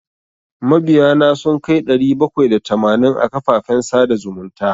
Mabiya na sun kai ɗari bakwai da tamanin a kafafen sada zumunta.